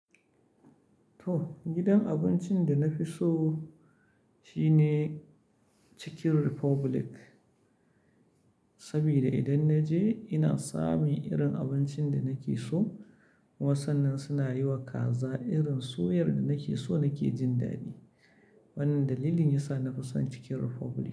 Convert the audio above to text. To gidan abincin da na fi so shine Chicken Republic. Sabida idan na je ina samun irin abincin da nake so. Kuma sannan suna yiwa kaza irin soyar da nake so nake jin daɗi. Wannan dalilin yasa na fi son Chicken Republic.